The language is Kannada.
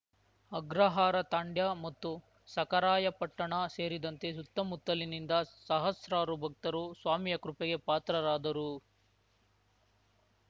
ಅಗ್ರಹಾರ ತಾಂಡ್ಯ ಮತ್ತು ಸಖರಾಯಪಟ್ಟಣ ಸೇರಿದಂತೆ ಸುತ್ತಮುತ್ತಲಿನಿಂದ ಸಹಸ್ರಾರು ಭಕ್ತರು ಸ್ವಾಮಿಯ ಕೃಪೆಗೆ ಪಾತ್ರರಾದರು